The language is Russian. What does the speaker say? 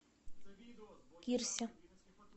кирсе